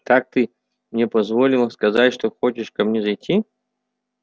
так ты мне позволил сказать что хочешь ко мне зайти